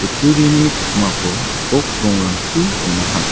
kutturini pakmako gipok rongrangchi on·aha.